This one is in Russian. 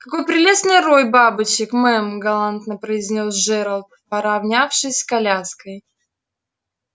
какой прелестный рой бабочек мэм галантно произнёс джералд поравнявшись с коляской